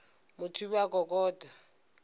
motho o be a kokota